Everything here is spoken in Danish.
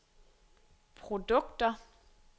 produkter